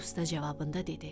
Usta cavabında dedi: